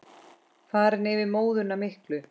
Farin yfir móðuna miklu.